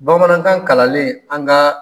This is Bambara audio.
Bamanankan kalanlen an kaa